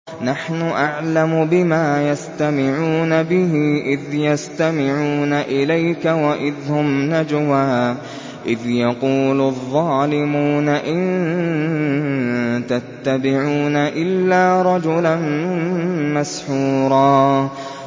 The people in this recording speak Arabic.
نَّحْنُ أَعْلَمُ بِمَا يَسْتَمِعُونَ بِهِ إِذْ يَسْتَمِعُونَ إِلَيْكَ وَإِذْ هُمْ نَجْوَىٰ إِذْ يَقُولُ الظَّالِمُونَ إِن تَتَّبِعُونَ إِلَّا رَجُلًا مَّسْحُورًا